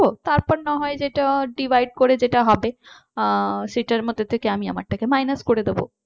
তারপর না হয় যেটা divide করে যেটা হবে আহ সেটার মধ্যে থেকে আমি আমার টাকে minus করে দেব।